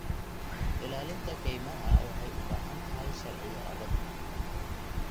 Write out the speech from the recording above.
Ilaalinta kaymaha waxay u baahan tahay sharciyo adag.